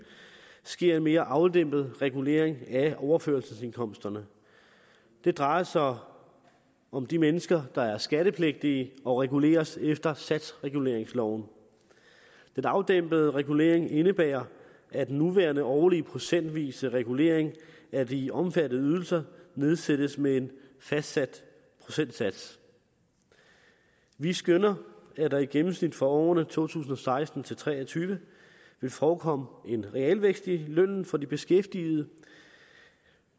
sker en mere afdæmpet regulering af overførselsindkomsterne det drejer sig om om de mennesker der er skattepligtige og reguleres efter satsreguleringsloven den afdæmpede regulering indebærer at den nuværende årlige procentvise regulering af de omfattede ydelser nedsættes med en fastsat procentsats vi skønner at der i gennemsnit for årene to tusind og seksten til tre og tyve vil forekomme en realvækst i lønnen for de beskæftigede